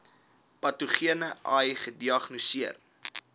patogene ai gediagnoseer